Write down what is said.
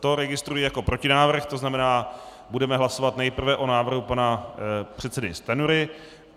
To registruji jako protinávrh, to znamená, budeme hlasovat nejprve o návrhu pana předsedy Stanjury.